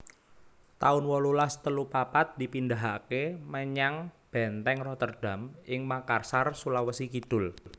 taun wolulas telu papat dipindahaké menyang Bèntèng Rotterdam ing Makassar Sulawesi Kidul